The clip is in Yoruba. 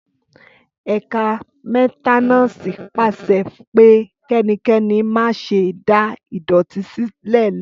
Ẹkà mẹtẹnàsí pàse pẹ; Kẹníkẹ̀nì mà sẹ dà ìdọtí sílẹlẹ.